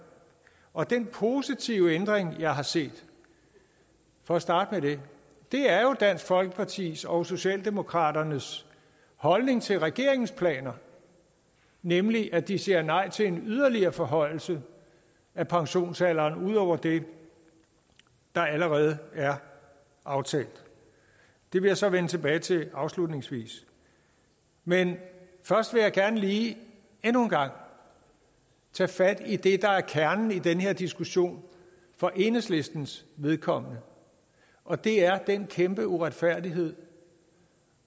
og den positive ændring jeg har set for at starte med det er jo dansk folkepartis og socialdemokratiets holdning til regeringens planer nemlig at de siger nej til en yderligere forhøjelse af pensionsalderen ud over det der allerede er aftalt det vil jeg så vende tilbage til afslutningsvis men først vil jeg gerne lige endnu en gang tage fat i det der er kernen i den her diskussion for enhedslistens vedkommende og det er den kæmpe uretfærdighed